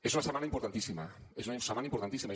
és una setmana importantíssima és una setmana importantíssima